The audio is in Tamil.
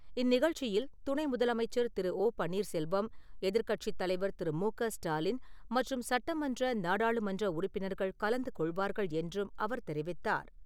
இந்நிகழ்ச்சியில், துணை முதலமைச்சர் திரு ஓ பன்னீர் செல்வம், எதிர்க்கட்சித் தலைவர் திரு மு க ஸ்டாலின் மற்றும் சட்டமன்ற, நாடாளுமன்ற உறுப்பினர்கள் கலந்துகொள்வார்கள் என்றும் அவர் தெரிவித்தார்.